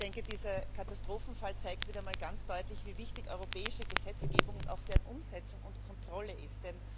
Ich denke, dieser Katastrophenfall zeigt wieder einmal ganz deutlich, wie wichtig europäische Gesetzgebung und auch deren Umsetzung und Kontrolle ist.